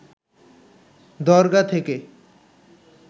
দরগা থেকে